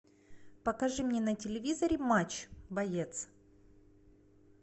покажи мне на телевизоре матч боец